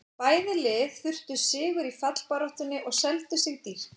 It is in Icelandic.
Bæði lið þurftu sigur í fallbaráttunni og seldu sig dýrt.